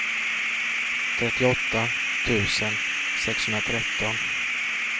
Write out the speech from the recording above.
trettioåtta tusen sexhundratretton